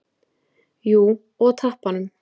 Jú, og tappanum.